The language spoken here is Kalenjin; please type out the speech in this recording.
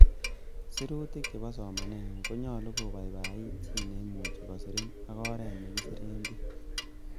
Sirutikuk chebo somanengung konyolu kobaibait chi neimuche kosirin ak oret nekisiren bik.